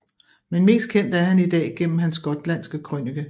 Men mest kendt er han i dag gennem hans gotlandske krønike